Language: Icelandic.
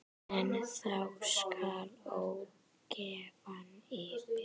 En þá skall ógæfan yfir.